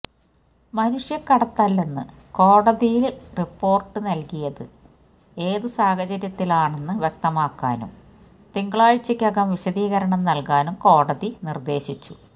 മനുഷ്യകടത്തല്ലെന്ന് കോടതിയില് റിപോര്ട് നല്കിയത് ഏതു സാഹചര്യത്തിലാണെന്ന് വ്യക്തമാക്കാനും തിങ്കളാഴ്ചക്കകം വിശദീകരണം നല്കാനും കോടതി നിര്ദേശിച്ചു